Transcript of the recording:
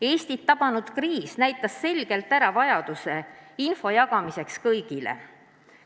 Eestit tabanud kriis näitas selgelt ära vajaduse, et infot jagataks kõigile.